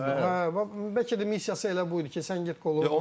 Bəlkə də missiyası elə bu idi ki, sən get qolu vur.